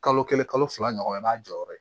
Kalo kelen kalo fila ɲɔgɔna i b'a jɔyɔrɔ ye